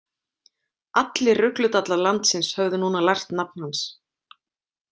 Allir rugludallar landsins höfðu núna lært nafn hans.